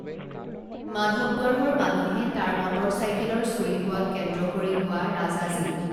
মাধৱগঢ়ৰ মানুহে তাৰ মটৰ চাইকেলৰ চুৰি হোৱাক কেন্দ্ৰ কৰি হোৱা ৰাজাজী